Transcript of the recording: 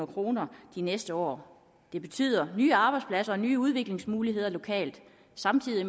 kroner de næste år det betyder nye arbejdspladser og nye udviklingsmuligheder lokalt samtidig